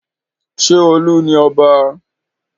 Ṣé Olú ni ọba?